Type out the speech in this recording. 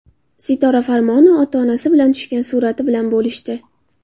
Sitora Farmonova ota-onasi bilan tushgan surati bilan bo‘lishdi.